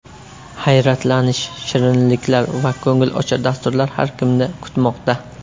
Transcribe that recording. Hayratlanish, shirinliklar va ko‘ngilochar dasturlar har kimni kutmoqda!